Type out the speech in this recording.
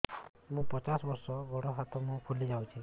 ମୁ ପଚାଶ ବର୍ଷ ମୋର ଗୋଡ ହାତ ମୁହଁ ଫୁଲି ଯାଉଛି